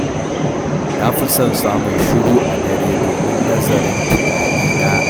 Na fi son samun shiru a dare domin nazarin tunanina.